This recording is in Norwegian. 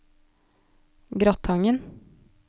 Gratangen